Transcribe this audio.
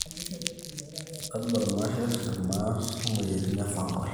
todua ilmasher, maat oo moyiaritin e fungal